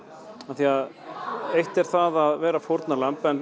því eitt er það að vera fórnarlamb en